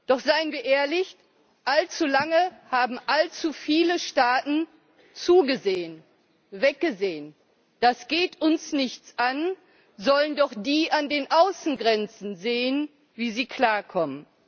Doch seien wir ehrlich Allzu lange haben allzu viele Staaten zugesehen, weggesehen Das geht uns nichts an, sollen doch die an den Außengrenzen sehen, wie sie klarkommen.